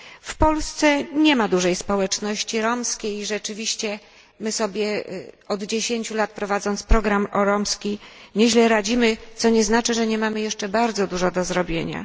W Polsce nie ma dużej społeczności romskiej i rzeczywiście my sobie od 10 lat prowadząc program na rzecz społeczności romskiej nieźle radzimy, co nie znaczy, że nie mamy jeszcze bardzo wiele do zrobienia.